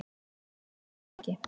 Hvers vegna ekki?